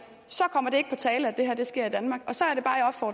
kommer det ikke på tale at det sker i danmark så